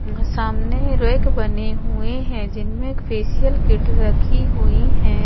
हम्म सामने रोएक बने हुए है जिनमे एक फेशियल किट रखी हुई हैं।